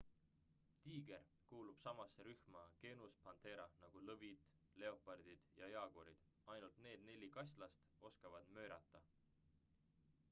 tiiger kuulub samasse rühma genus panthera nagu lõvid leopardid ja jaaguarid. ainult need neli kaslast oskavad möirata